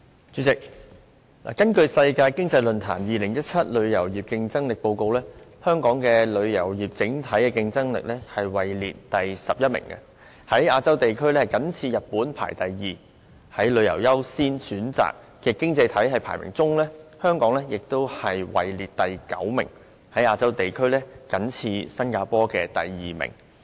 主席，根據世界經濟論壇發表的《2017年旅遊業競爭力報告》，香港旅遊業的整體競爭力位列第十一名，在亞洲地區僅次於日本，排行第二，而在旅遊業的優先程度方面，香港在各經濟體中排名第九，在亞洲地區僅次於新加坡，排行第二。